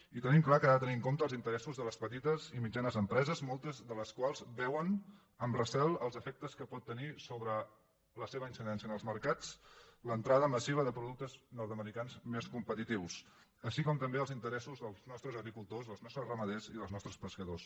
i tenim clar que ha de tenir en compte els interessos de les petites i mitjanes empreses moltes de les quals veuen amb recel els efectes que pot tenir sobre la seva incidència en els mercats l’entrada massiva de productes nord americans més competitius així com també els interessos dels nostres agricultors dels nostres ramaders i dels nostres pescadors